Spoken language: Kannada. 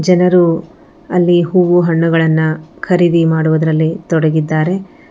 ಜನರು ಅಲ್ಲಿ ಹೂವು ಹಣ್ಣುಗಳನ್ನ ಖರೀದಿ ಮಾಡೋದ್ರಲ್ಲಿ ತೊಡಗಿದಾರೆ.